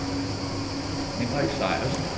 Henrik Sejersen